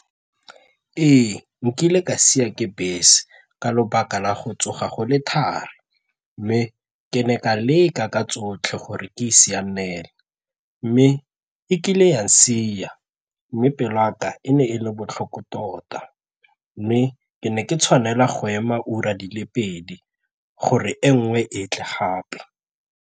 Ee, nkile ka siwa ke bese ka lobaka la go tsoga go le thari mme ke ne ka leka ka tsotlhe gore ke e sianele mme e kile ya nsiya mme pele ya ka e ne e le botlhoko tota mme ke ne ke tshwanelwa go ema ura di le pedi gore e nngwe e tle gape.